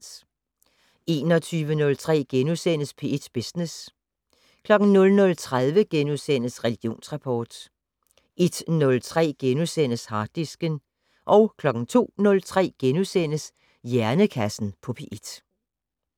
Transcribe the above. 21:03: P1 Business * 00:30: Religionsrapport * 01:03: Harddisken * 02:03: Hjernekassen på P1 *